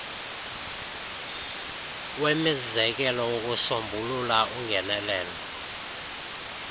wemizekelo wokusombulula ungenelelo